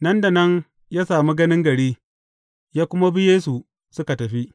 Nan da nan, ya sami ganin gari, ya kuma bi Yesu suka tafi.